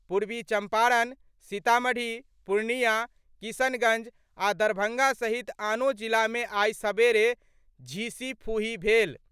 पूर्वी चम्पारण, सीतामढ़ी, पूर्णियां, किशनगंज आ दरभंगा सहित आनो जिला मे आइ सबेरे झीसीफुही भेल।